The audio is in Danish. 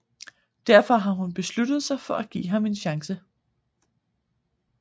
Derfor har hun besluttet sig for at give ham en chance